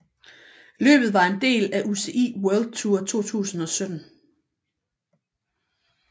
Løbet var en del af UCI World Tour 2017